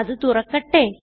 അത് തുറക്കട്ടെ